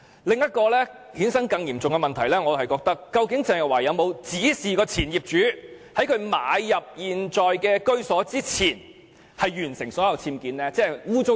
另一個更嚴重的問題是，鄭若驊曾否指示前業主在她買入現時的居所前完成所有僭建工程。